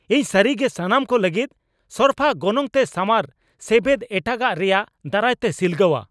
ᱤᱧ ᱥᱟᱹᱨᱤᱜᱮ ᱥᱟᱱᱟᱢ ᱠᱚ ᱞᱟᱹᱜᱤᱫ ᱥᱚᱨᱯᱷᱟ ᱜᱚᱱᱚᱝ ᱛᱮ ᱥᱟᱶᱟᱨ ᱥᱮᱵᱮᱫ ᱮᱴᱟᱜᱟᱜ ᱨᱮᱭᱟᱜ ᱫᱟᱨᱟᱭ ᱛᱮ ᱥᱤᱞᱜᱟᱹᱣᱟ ᱾